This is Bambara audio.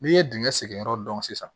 N'i ye dingɛ sen yɔrɔ dɔn sisan